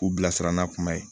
K'u bilasira n'a kuma ye